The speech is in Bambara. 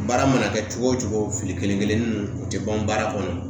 Baara mana kɛ cogo o cogo fili kelen kelennin ninnu o tɛ ban baara kɔnɔ